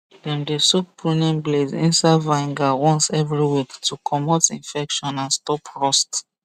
dem dey soak pruning blades inside vinegar once every week to comote infection and stop rust